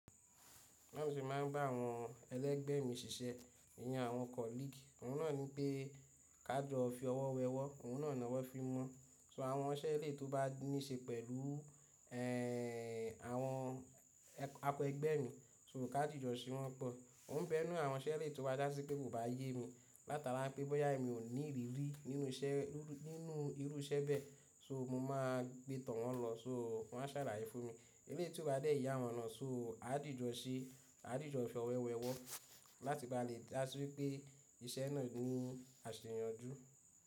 Wọn sì máa ń bá àwọn ẹlẹ́gbẹ̀mí ṣiṣẹ́, ìyan àwọn colleague. Òun náà ní pé ká jọ fi ọwọ́ wẹ ọwọ́, òun náà ni wọ́n fi mọ́. So àwọn iṣẹ́ ilé tó bá níí ṣe pẹ̀lú ẹ́ àwọn akẹẹgbẹ́ mi, so ká dìjọ sí wọn pọ̀. Mo ń bẹ́rù àwọn iṣẹ́ ilé tí ó bá dá sí pé kò bá yé mi. Látara pé bọ́yá èmi ò ní ìrírí nínú iṣẹ́, nínú irú iṣẹ́ bẹ́ẹ̀, ṣo mo máa gbé tọ̀ wọ́n lọ, ṣo wọ́n á sàlàyé fún mi. Ilé tí ó bá dé yà wọ́n náà, ṣo a dìjọ ṣe, a dìjọ fi ọwọ́ wẹ ọwọ́ láti bá lè dá sí wípé iṣẹ́ náà ni àsẹ̀yànjú.